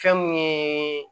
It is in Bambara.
Fɛn mun ye